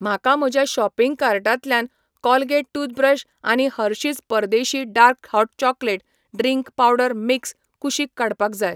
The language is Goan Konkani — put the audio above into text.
म्हाका म्हज्या शॉपिंग कार्टांतल्यान कोलगेट टूथब्रश आनी हर्शिज परदेशी dark hot chocolate drink powder mix कुशीक काडपाक जाय.